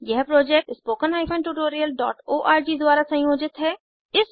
यह project httpspoken tutorialorg द्वारा संयोजित है